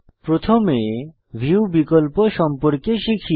প্রথমে ভিউ বিকল্প সম্পর্কে শিখি